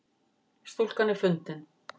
Stúlkan er fundin